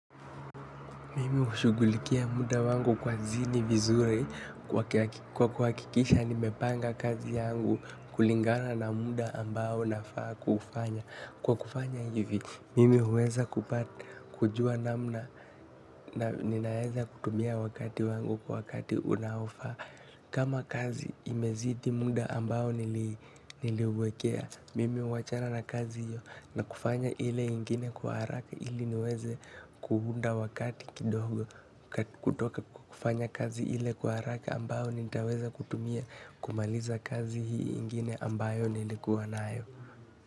Mimi hushughulikia muda wangu kazini vizuri kwa kuhakikisha nimepanga kazi yangu kulingana na muda ambao nafaa kuufanya. Kwa kufanya hivi, mimi huweza kupata, kujua namna na ninaeza kutumia wakati wangu kwa wakati unaofaa. Kama kazi imezidi muda ambao niliwekea, mimi huachana na kazi hiyo na kufanya ile ingine kwa haraka ili niweze kuunda wakati kidogo kutoka kufanya kazi ile kwa haraka ambao nitaweza kutumia kumaliza kazi hii ingine ambayo nilikuwa nayo.